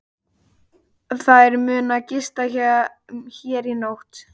Þeir munu gista hér í nótt.